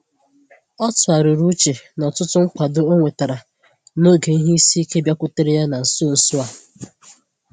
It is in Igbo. Ọ tụgharịrị uche na ọtụtụ nkwado ọ nwetara n’oge ihe isi ike bịakwutere ya na nso nso a.